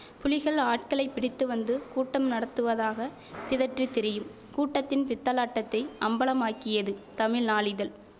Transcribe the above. புலிகள் ஆட்களைப் பிடித்து வந்து கூட்டம் நடத்துவதாகப் பிதற்றித் திரியும் கூட்டத்தின் பித்தலாட்டத்தை அம்பலமாக்கியது தமிழ் நாளிதழ்